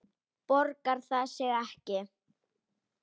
Borgar það sig ekki?